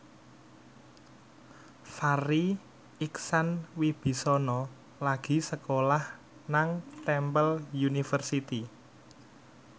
Farri Icksan Wibisana lagi sekolah nang Temple University